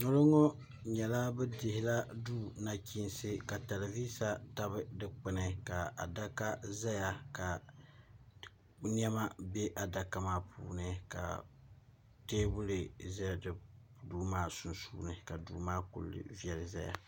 ŋɔ lo ŋɔ nyɛla bɛ dihila duu nachiinsi ka talivisa tabi dikpuni ka adaka zaya ka nɛma be adaka maa puuni ka teebuli za duu maa sunsuuni ka duu maa kuli viɛli zaya